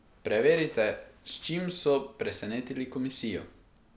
Preverite, s čim so presenetili komisijo!